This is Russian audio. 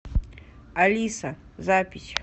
алиса запись